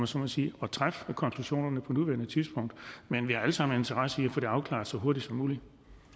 så må sige at træffe konklusionerne på nuværende tidspunkt men vi har alle sammen en interesse i at få det afklaret så hurtigt som muligt